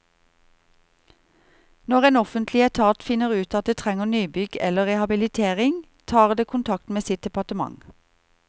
Når en offentlig etat finner ut at det trenger nybygg eller rehabilitering, tar det kontakt med sitt departement.